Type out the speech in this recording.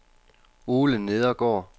Ole Nedergaard